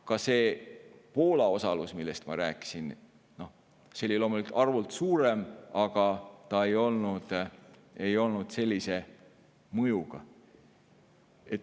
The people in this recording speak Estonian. Ka see Poola osalus, millest ma rääkisin, oli küll loomulikult arvult suurem, aga ei olnud sellise mõjuga.